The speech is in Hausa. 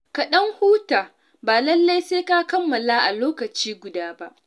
Ka ɗan huta ba lallai sai ka kammala a lokaci guda ba.